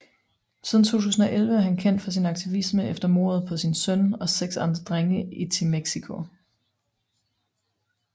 Siden 2011 er han kendt for sin aktivisme efter mordet på sin søn og seks andre drenge i Temixco